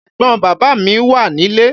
Ẹ̀gbọn bàbá mí wà nílé.